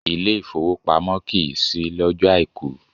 Ilé ìfowópamọ́ kìí ṣí lọ́jọ́o Àìkú.